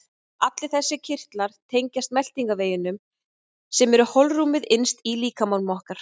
Allir þessir kirtlar tengjast meltingarveginum sem er holrúmið innst í líkama okkar.